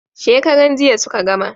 Shekaran jiya suka gama